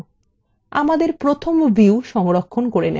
আমাদের প্রথম view সংরক্ষণ করে নেওয়া যাক